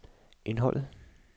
indholdet